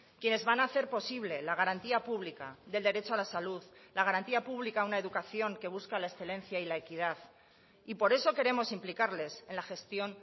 quienes van a hacer posible la garantía pública del derecho a la salud la garantía pública a una educación que busca la excelencia y la equidad y por eso queremos implicarles en la gestión